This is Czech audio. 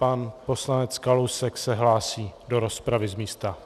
Pan poslanec Kalousek se hlásí do rozpravy z místa.